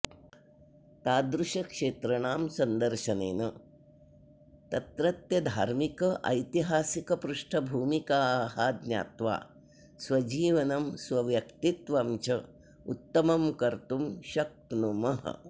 तादृशक्षेत्रणां सन्दर्शनेन तत्रत्यधार्मिकैतिहासिकपृष्ठभूमिकाः ज्ञात्वा स्वजीवनं स्वव्यक्तित्वं च उत्तमं कर्तुं शक्नुमः